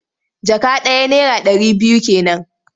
Jaka ɗaya naira ɗari biyu ke nan.